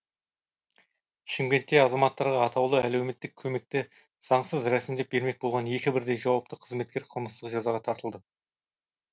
шымкентте азаматтарға атаулы әлеуметтік көмекті заңсыз рәсімдеп бермек болған екі бірдей жауапты қызметкер қылмыстық жазаға тартылды